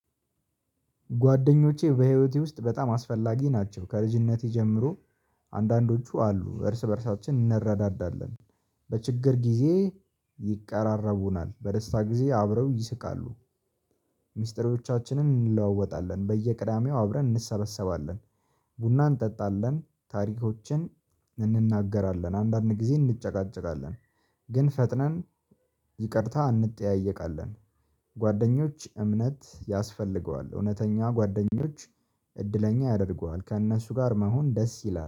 ጓደኞቼ በህይወቴ ውስጥ በጣም አስፈላጊ ናቸው። ከልጅነቴ ጀምሮ አንዳንዶቹ አሉ። እርስ በእርሳችን እንረዳዳለን። በችግር ጊዜ ይቀራረቡናል። በደስታ ጊዜ አብረው ይስቃሉ። ሚስጥሮቻችንን እንለዋወጣለን። በየቅዳሜው አብረን እንሰበሰባለን። ቡና እንጠጣለን። ታሪኮችን እንናገራለን። አንዳንድ ጊዜ እንጨቃጨቃለን። ግን ፈጥነን ይቅርታ አንጠያየቃለን። ጓደኞች እምነት ያስፈልገዋል። እውነተኛ ጓደኞች እድለኛ ያደርገዋል። ከእነሱ ጋር መሆን ደስ ይላል።